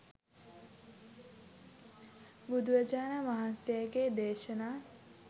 බුදුරජාණන් වහන්සේගේ දේශනා